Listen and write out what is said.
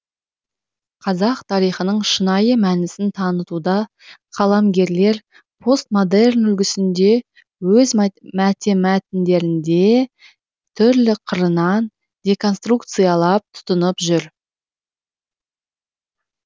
қазақ тарихының шынайы мәнісін танытуда қаламгерлер постмодерн үлгісін өз мәтіндерінде түрлі қырынан деконструкциялап тұтынып жүр